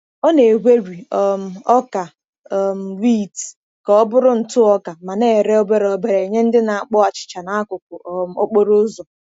Ọ na-egweri um ọka um wit ka ọ bụrụ ntụ ọka ma na-ere obere obere nye ndị na-akpọ achịcha n’akụkụ um okporo ụzọ.